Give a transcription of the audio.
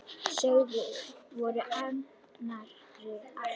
Sögðum hvor annarri allt.